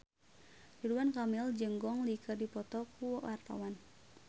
Ridwan Kamil jeung Gong Li keur dipoto ku wartawan